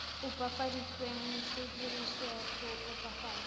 opafaditsweng se dirisetswa go opafatsa